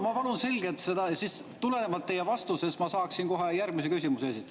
Ma palun selgelt seda, sest tulenevalt teie vastusest ma saaksin kohe järgmise küsimuse esitada.